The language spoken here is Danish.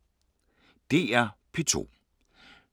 DR P2